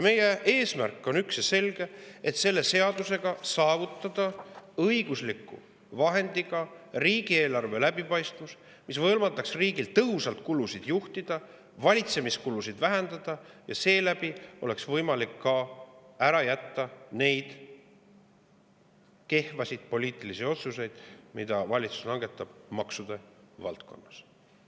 Meie eesmärk on üks ja selge: selle seaduse abil saavutada õigusliku vahendiga riigieelarve läbipaistvus, mis võimaldaks riigil tõhusalt kulusid juhtida ja valitsemiskulusid vähendada, ning seeläbi oleks võimalik ära jätta need kehvad poliitilised otsused, mida valitsus on langetanud maksude valdkonnas.